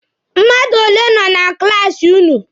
Mmadụ ole nọ na klaasi ụnụ?